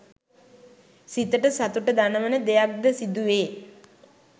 සිතට සතුට දනවන දෙයක් ද සිදුවේ